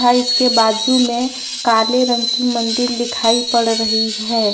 तथा इसके बाजू में काले रंग की मंदिर दिखाई पड़ रही है।